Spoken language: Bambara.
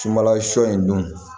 Sunbala sɔ in dun